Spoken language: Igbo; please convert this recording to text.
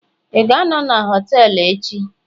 ị ga-anọ na họtelu echi?